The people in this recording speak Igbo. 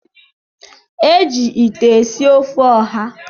E ji ite esi ofe ọha.